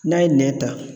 N'a ye nɛn ta